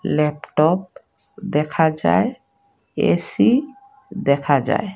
Laptop দেখা যায় AC দেখা যায়।